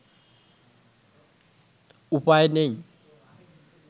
উপায় নেই